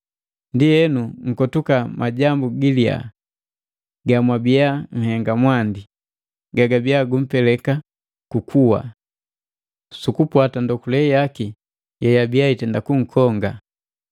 Ndienu, nkotuka majambu giliya gamwabiya nhenga mwandi, gagabiya gumpeleka ku kuwa, sukupwata ndokule yaki yeyabiya itenda kunkonga.